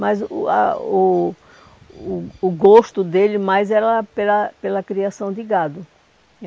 Mas o o a o o o gosto dele mais era pela pela criação de gado.